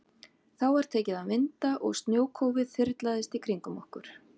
Þá var tekið að vinda og snjókófið þyrlaðist í kringum okkur.